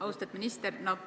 Austatud minister!